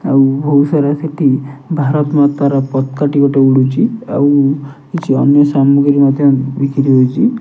ଆଉ ବୋହୁତ ସାରା ସେଠି ଭାରତ ମାତାର ପତକା ଟି ଗୋଟେ ଉଡ଼ୁଛି ଆଉ କିଛି ଅନ୍ୟ ସାମଗ୍ରୀ ମଧ୍ୟ ବୁଡ଼ିକିରି ରହିଛି।